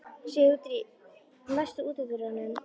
Sigurdríf, læstu útidyrunum.